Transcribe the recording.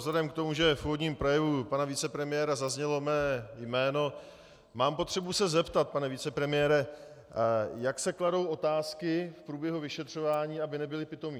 Vzhledem k tomu, že v úvodním projevu pana vicepremiéra zaznělo mé jméno, mám potřebu se zeptat: Pane vicepremiére, jak se kladou otázky v průběhu vyšetřování, aby nebyly pitomé?